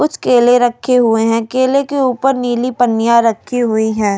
कुछ केले रखे हुए हैं केले के ऊपर नीली पन्नियां रखी हुई है।